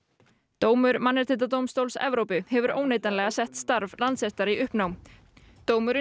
dómur Mannréttindadómstóls Evrópu hefur óneitanlega sett starf Landsréttar í uppnám dómurinn